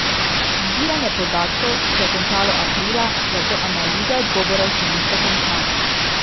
Zbiranje podatkov se je končalo aprila, zato analize odgovorov še niso končane.